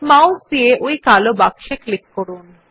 mouse দিয়ে ওই কালো বাক্সে ক্লিক করুন